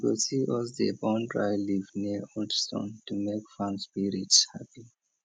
you go see us dey burn dry leaf near old stone to make farm spirits happy